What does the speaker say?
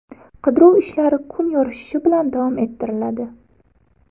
Qidiruv ishlari kun yorishishi bilan davom ettiriladi.